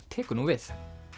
tekur nú við